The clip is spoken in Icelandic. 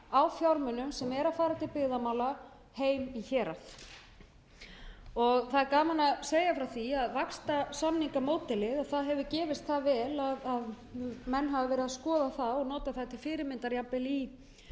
á fjármunum sem eru að fara til byggðamála heim í hérað það er gaman að segja frá því að vaxtarsamningamódelið hefur gefist það vel að menn hafa verið að skoða það og nota það til fyrirmyndar til að styðja við klasamyndun í ákveðnum